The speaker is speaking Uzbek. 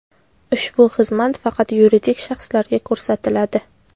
Ushbu xizmat faqat yuridik shaxslarga ko‘rsatiladi.